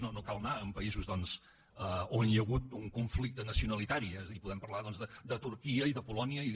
no cal anar a països on hi ha hagut un conflicte nacionalitari és a dir podem parlar de turquia i de polònia i de